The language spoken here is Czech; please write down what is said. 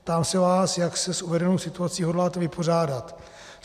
Ptám se vás, jak se s uvedenou situací hodláte vypořádat.